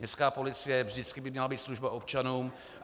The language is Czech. Městská policie by vždycky měla být služba občanům.